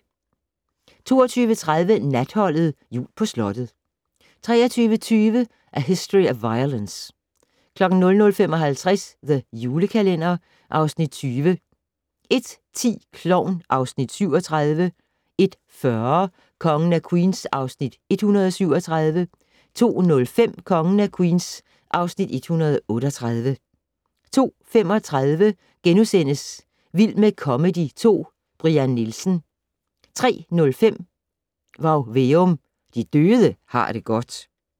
22:30: Natholdet - jul på slottet 23:20: A History of Violence 00:55: The Julekalender (Afs. 20) 01:10: Klovn (Afs. 37) 01:40: Kongen af Queens (Afs. 137) 02:05: Kongen af Queens (Afs. 138) 02:35: Vild med comedy 2 - Brian Nielsen * 03:05: Varg Veum - De døde har det godt